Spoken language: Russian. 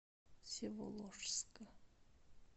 всеволожска